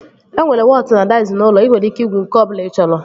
E nwere wọtụ na daiz n'ụlọ. Ị nwere ike igwu nke ọbụla ị chọrọ